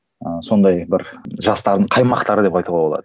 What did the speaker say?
ыыы сондай бір жастардың қаймақтары деп айтуға болады